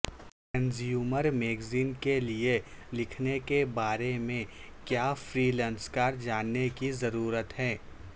consumer magazine کے لئے لکھنے کے بارے میں کیا فرییلانسکار جاننے کی ضرورت ہے